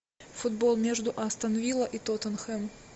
футбол между астон вилла и тоттенхэм